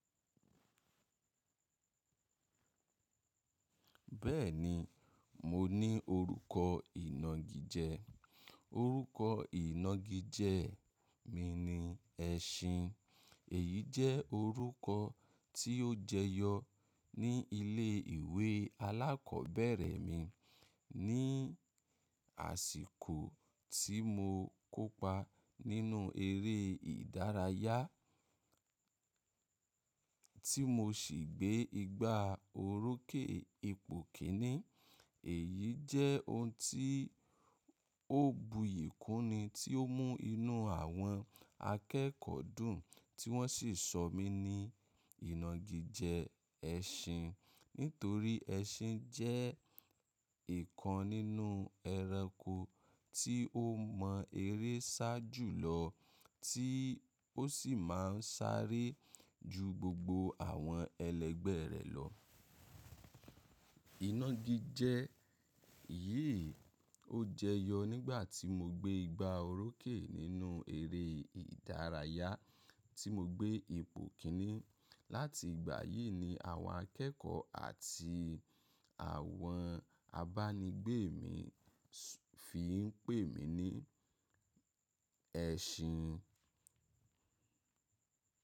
Bẹ́ẹ̀ni, mo ní orúkọ ìnagijẹ. Orúkọ ìnagijẹ mi ni ẹṣin. Èyí jẹ́ orúkọ tí ó jẹyọ ní ilé ìwé alákọ̀ọ́bẹ̀rẹ̀ mi ní àsìkò tí mo kópa nínú eré ìdárayá tí mo sì gbé igba orókè ipò kíní. Èyí jẹ́ ohun tí ó buyì kúni tí ó mú inú àwọn akẹ́kọ̀ọ́ dùn tí wọ́n sì sọ mí ní ìnagijẹ ẹṣin nítorí ẹṣin jẹ́ ǹkan nínú ẹranko tí ó mọ eré sá jùlọ tí ó sì máa ń sáré ju gbogbo àwọn ẹlẹgbẹ́ rẹ̀ lọ. Ìnagijẹ yìí ó jẹyọ nígbà tí mo gbé igba orókè nínú eré ìdárayá tí mo gbé ipò kíní. Láti ìgbà yìí ni àwọn akẹ́kọ̀ọ́ àti àwọn abánigbé mi fi ń pè mí ní ẹṣin.